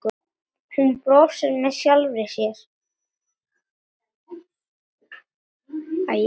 Hún brosir með sjálfri sér.